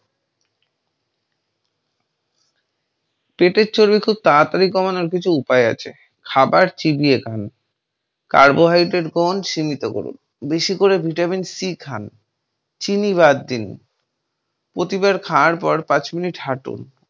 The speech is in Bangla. পেটের চর্বি খুব তাড়াতাড়ি কমানোর কিছু উপায় আছে খাবার চিবিয়ে খান, carbohydrate গ্রহণ সীমিত করুন, বেশি করে Vitamin C খান, চিনি বাদ‌ দিন, প্রতিবার খাওয়ার পর পাঁচ minute হাটুন।